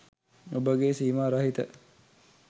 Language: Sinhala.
ඔබගේ සීමා රහිත